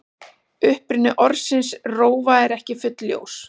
Uppruni orðsins rófa er ekki fullljós.